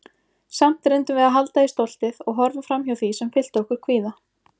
Samt reyndum við að halda í stoltið- og horfa framhjá því sem fyllti okkur kvíða.